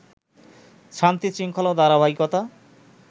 শান্তিশৃঙ্খলা ও ধারাবাহিকতা